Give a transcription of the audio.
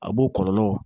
A b'o kɔlɔlɔw